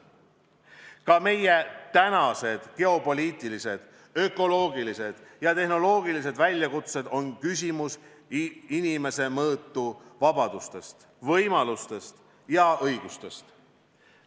Ka meie tänased geopoliitilised, ökoloogilised ja tehnoloogilised väljakutsed on küsimus inimese mõõtu vabadustest, võimalustest ja õigustest.